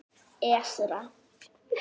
Esra